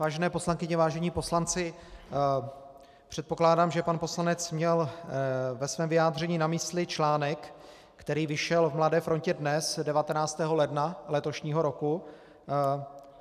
Vážené poslankyně, vážení poslanci, předpokládám, že pan poslanec měl ve svém vyjádření na mysli článek, který vyšel v Mladé frontě Dnes 19. ledna letošního roku.